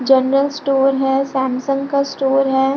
General store है Samsung का store है।